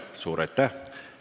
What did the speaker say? Suur aitäh!